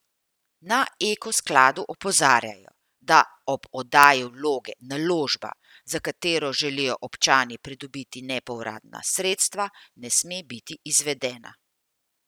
Na Eko skladu opozarjajo, da ob oddaji vloge naložba, za katero želijo občani pridobiti nepovratna sredstva, ne sme biti izvedena.